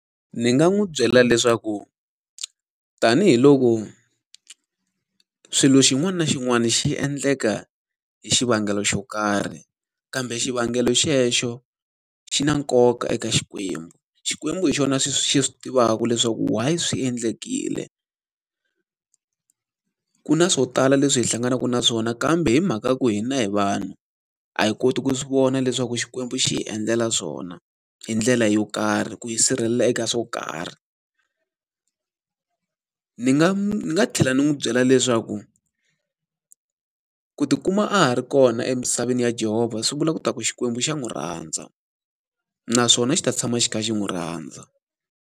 Ni nga n'wi byela leswaku tanihiloko swilo xin'wana na xin'wana xi endleka hi xivangelo xo karhi, kambe xivangelo xexo xi na nkoka eka Xikwembu. Xikwembu hi xona xi swi xi swi tivaka leswaku why swi endlekile. Ku na swo tala leswi hi hlanganaka na swona kambe hi mhaka ku hina hi vanhu, a hi koti ku swi vona leswaku Xikwembu xi hi endlela swona, hi ndlela yo karhi, ku yi sirhelela eka swo karhi. Ni nga ni nga tlhela ni n'wi byela leswaku, ku ti kuma a ha ri kona emisaveni ya Jehovah swi vula ku ta ku Xikwembu xa n'wi rhandza, naswona xi ta tshama xi kha xi n'wi rhandza.